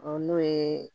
O n'o ye